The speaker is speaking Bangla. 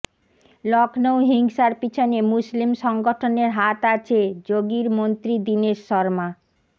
লখনউ হিংসার পিছনে মুসলিম সংগঠনের হাত আছেঃ যোগীর মন্ত্রী দীনেশ শর্মা